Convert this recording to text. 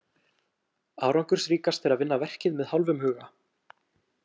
Árangursríkast er að vinna verkið með hálfum huga.